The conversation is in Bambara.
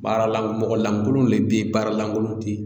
Baara lanko mɔgɔ lankolon de bɛ yen baara lankolon te yen